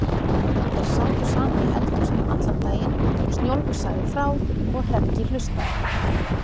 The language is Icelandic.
Þeir sátu saman í eldhúsinu allan daginn, Snjólfur sagði frá og Hreggi hlustaði.